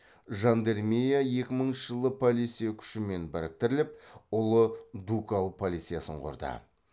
жандармерия екі мыңыншы жылы полиция күшімен біріктіріліп ұлы дукал полициясын құрды